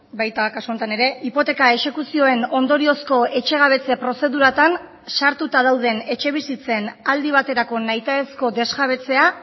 baita kasu honetan ere hipoteka exekuzioen ondoriozko etxegabetze prozeduratan sartuta dauden etxebizitzen aldi baterako nahita ezko desjabetzea